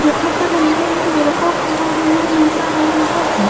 जहां पर अंदर एक लड़का खड़ा हुआ नज़र आ रहा है।